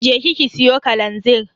Je ki ki siyo kalanzir.